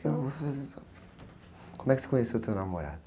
Não?ão, eu vou fazer só... Como é que você conheceu teu namorado?